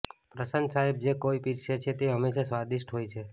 પ્રશાંત સાહેબ જે કાંઈ પીરસે છે તે હંમેશા સ્વાદિષ્ઠ હોય છે